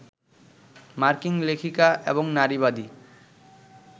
মার্কিন লেখিকা এবং নারীবাদী